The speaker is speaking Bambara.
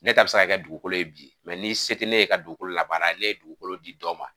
Ne ta bɛ se i ka kɛ dugukolo bi ni se tɛ ne ye ka dugukolo labaara ne ye dugukolo di dɔ ma